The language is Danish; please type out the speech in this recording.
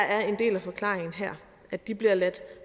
at de bliver ladt